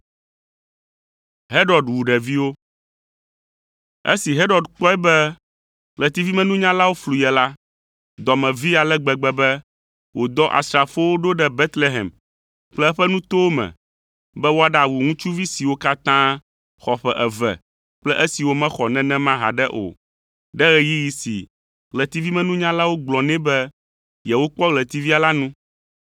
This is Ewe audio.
Esi Herod kpɔe be ɣletivimenunyalawo flu ye la, dɔ me vee ale gbegbe be wòdɔ asrafowo ɖo ɖe Betlehem kple eƒe nutowo me, be woaɖawu ŋutsuvi siwo katã xɔ ƒe eve kple esiwo mexɔ nenema haɖe o, ɖe ɣeyiɣi si ɣletivimenunyalawo gblɔ nɛ be yewokpɔ ɣletivia la nu.